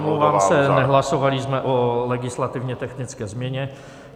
Omlouvám se, nehlasovali jsme o legislativně technické změně.